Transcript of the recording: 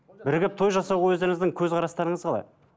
бірігіп той жасау өздеріңіздің көзқарастарыңыз қалай